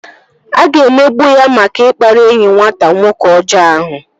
A ga-emegbu ya maka ikpari enyi nwata nwoke ọjọọ ahụ